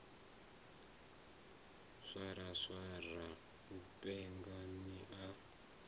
swaswara u penga ni a